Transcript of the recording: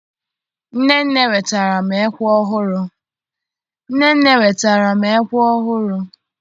Nnenne wetaara m ekwe ọhụrụ!